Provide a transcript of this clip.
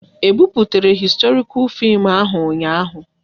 E buputere historikal fim ahu ụnyaahụ?